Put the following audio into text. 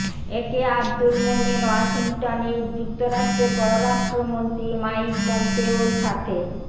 একে আব্দুল মোমেন ওয়াশিংটনে যুক্তরাষ্ট্রের পররাষ্ট্রমন্ত্রী মাইক পম্পেওর সাথে